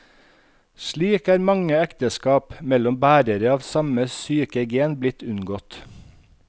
Slik er mange ekteskap mellom bærere av samme syke gen blitt unngått.